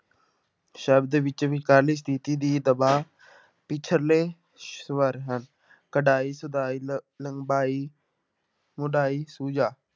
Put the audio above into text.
ਸ਼ਬਦ ਵਿੱਚ ਵਿਚਕਾਰਲੀ ਸਥਿਤੀ ਦੀ ਦਬਾਅ ਪਿੱਛਲੇ ਸਵਰ ਹਨ, ਕਢਾਈ, ਸਦਾਈ ਲ ਲੰਬਾਈ, ਮੁਡਾਈ, ਸੁਜਾ।